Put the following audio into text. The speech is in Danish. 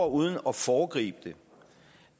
uden at foregribe